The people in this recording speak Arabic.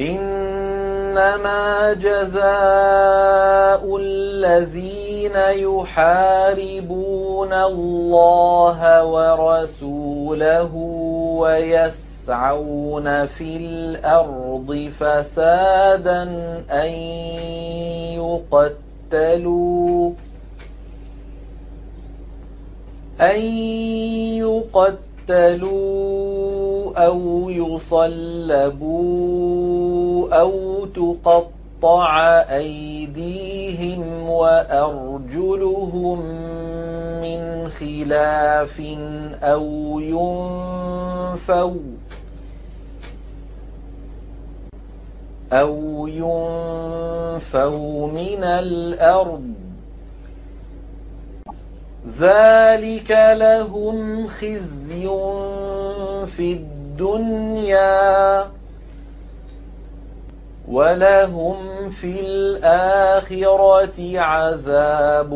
إِنَّمَا جَزَاءُ الَّذِينَ يُحَارِبُونَ اللَّهَ وَرَسُولَهُ وَيَسْعَوْنَ فِي الْأَرْضِ فَسَادًا أَن يُقَتَّلُوا أَوْ يُصَلَّبُوا أَوْ تُقَطَّعَ أَيْدِيهِمْ وَأَرْجُلُهُم مِّنْ خِلَافٍ أَوْ يُنفَوْا مِنَ الْأَرْضِ ۚ ذَٰلِكَ لَهُمْ خِزْيٌ فِي الدُّنْيَا ۖ وَلَهُمْ فِي الْآخِرَةِ عَذَابٌ